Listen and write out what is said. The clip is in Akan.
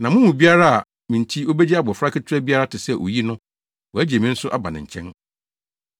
Na mo mu biara a, me nti obegye abofra ketewa biara te sɛ oyi no, wagye me nso aba ne nkyɛn.